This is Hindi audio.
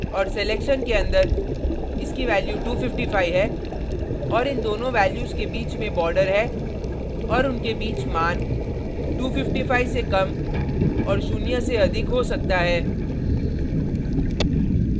और सिलेक्शन के अंदर इसकी values 255 है और इन दोनों values के बीच में border है और उनके बीच मान 255 से कम और शून्य से अधिक हो सकता है